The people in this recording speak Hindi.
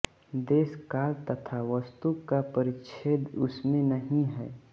देश काल तथा वस्तु का परिच्छेद उसमें नहीं है